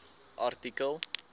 artikel